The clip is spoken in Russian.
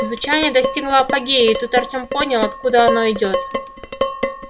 звучание достигло апогея и тут артём понял откуда оно идёт